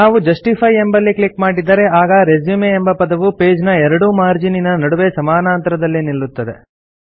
ನಾವು ಜಸ್ಟಿಫೈ ಎಂಬಲ್ಲಿ ಕ್ಲಿಕ್ ಮಾಡಿದರೆ ಆಗ ರೆಸ್ಯೂಮ್ ಎಂಬ ಪದವು ಪೇಜ್ ನ ಎರಡೂ ಮಾರ್ಜೀನಿನ ನಡುವೆ ಸಮಾನಾಂತರದಲ್ಲಿ ನಿಲ್ಲುತ್ತದೆ